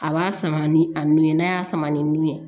A b'a sama ni a nun ye n'a y'a sama ni nun ye